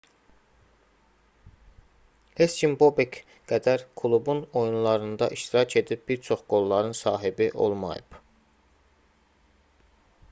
heç kim bobek qədər klubun oyunlarında iştirak edib bir çox qolların sahibi olmayıb